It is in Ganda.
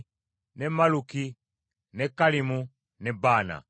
ne Malluki, ne Kallimu ne Baana.